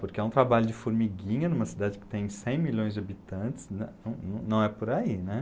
Porque é um trabalho de formiguinha, numa cidade que tem cem milhões de habitantes, não não não é por aí.